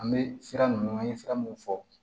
An bɛ sira ninnu an ye sira mun fɔ